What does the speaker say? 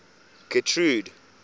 getrude